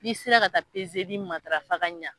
N'i sera ka taa matarafa ka ɲɛ.